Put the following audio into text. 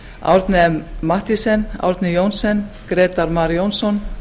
árni m mathiesen árni johnsen grétar mar jónsson